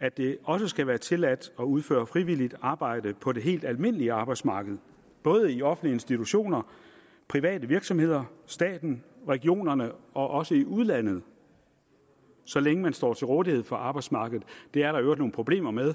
at det også skal være tilladt at udføre frivilligt arbejde på det helt almindelige arbejdsmarked både i offentlige institutioner private virksomheder staten regionerne og også i udlandet så længe man står til rådighed for arbejdsmarkedet det er der i øvrigt nogle problemer med